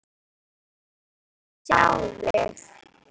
Þá fæ ég að sjá þig.